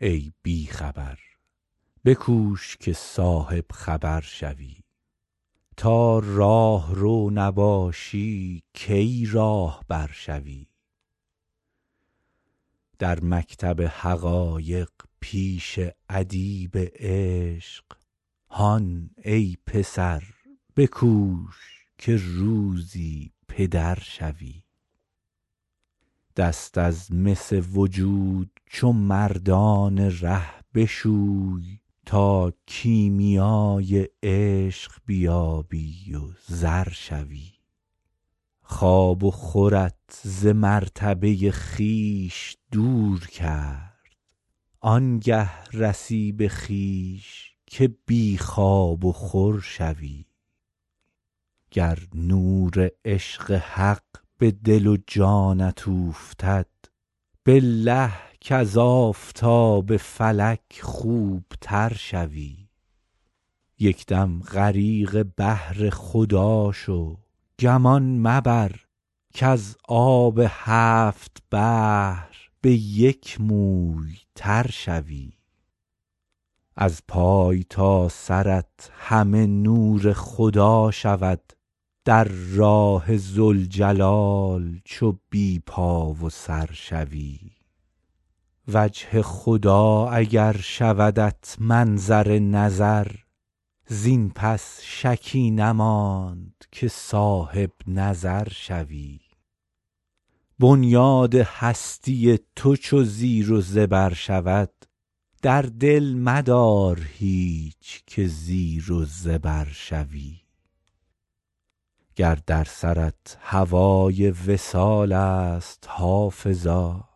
ای بی خبر بکوش که صاحب خبر شوی تا راهرو نباشی کی راهبر شوی در مکتب حقایق پیش ادیب عشق هان ای پسر بکوش که روزی پدر شوی دست از مس وجود چو مردان ره بشوی تا کیمیای عشق بیابی و زر شوی خواب و خورت ز مرتبه خویش دور کرد آن گه رسی به خویش که بی خواب و خور شوی گر نور عشق حق به دل و جانت اوفتد بالله کز آفتاب فلک خوب تر شوی یک دم غریق بحر خدا شو گمان مبر کز آب هفت بحر به یک موی تر شوی از پای تا سرت همه نور خدا شود در راه ذوالجلال چو بی پا و سر شوی وجه خدا اگر شودت منظر نظر زین پس شکی نماند که صاحب نظر شوی بنیاد هستی تو چو زیر و زبر شود در دل مدار هیچ که زیر و زبر شوی گر در سرت هوای وصال است حافظا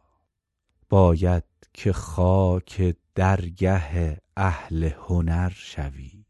باید که خاک درگه اهل هنر شوی